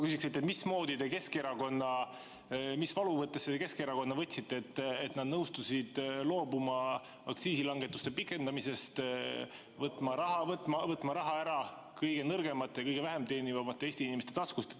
Kõigepealt ma küsin, mis valuvõttesse te Keskerakonna võtsite, et nad nõustusid loobuma aktsiisilangetuste pikendamisest ning võtma raha ära kõige nõrgemate, kõige vähem teenivate Eesti inimeste taskust?